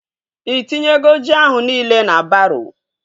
Ị tinyego ji ahụ nile na baroo?